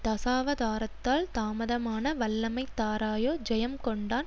தசாவதாரத்தால் தாமதமான வல்லமை தாராயோ ஜெயம் கொண்டான்